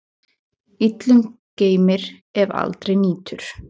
Illum geymir, ef aldrei nýtur.